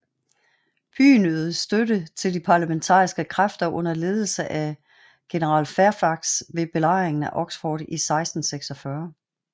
Byen ydede støtte til de parlamentaristiske kræfter under ledelse af general Fairfax ved Belejringen af Oxford i 1646